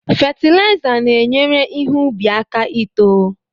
Fetilaiza na-enyere ihe ubi aka ito.